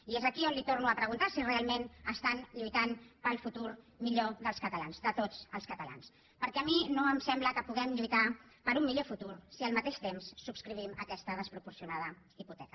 i és aquí on li torno a preguntar si realment estan lluitant pel futur millor dels catalans de tots els catalans perquè a mi no em sembla que puguem lluitar per un millor futur si al mateix temps subscrivim aquesta desproporcionada hipoteca